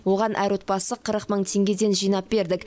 оған әр отбасы қырық мың теңгеден жинап бердік